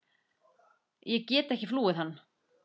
Ég get ekki flúið hann.